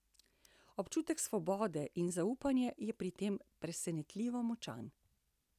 Občutek svobode in zaupanja je pri tem presenetljivo močan.